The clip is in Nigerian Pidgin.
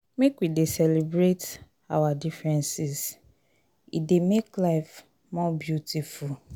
make we dey celebrate our differences e dey make life more beautiful.